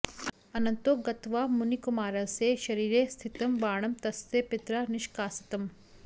अनन्तो गत्वा मुनिकुमारस्य शरीरे स्थितं बाणं तस्य पित्रा निष्कासितम्